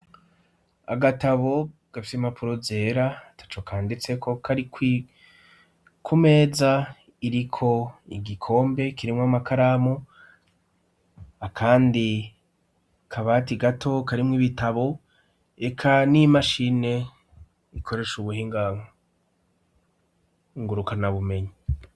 Agatabo gapfya imapuro zera ata co kanditsekokarikoko umeza iriko igikombe kiremwa amakaramu akandi kabati gato karimwo ibitabo eka n'imashine ikoresha ubuhingango nguruka na bumenyi.